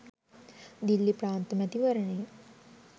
දිල්ලි ප්‍රාන්ත මැතිවරණයෙන්